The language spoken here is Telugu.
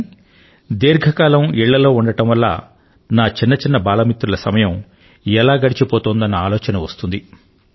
కానీ దీర్ఘ కాలం ఇళ్ళలో ఉండడం వల్ల నా బాల మిత్రుల సమయం ఎలా గడిచిపోతుందన్న ఆలోచన వస్తుంది